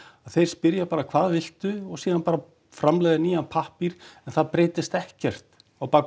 að þeir spyrja bara hvað viltu og síðan bara framleiða nýjan pappír en það breytist ekkert á bak